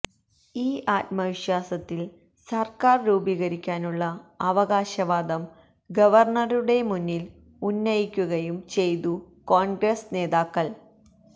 ഈ ആത്മവിശ്വാസത്തില് സര്ക്കാര് രൂപീകരിക്കാനുള്ള അവകാശവാദം ഗവര്ണ്ണറുടെ മുന്നില് ഉന്നയിക്കുകയും ചെയ്തു കോണ്ഗ്രസ് നേതാക്കള്